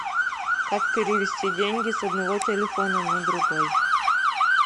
как перевести деньги с одного телефона на другой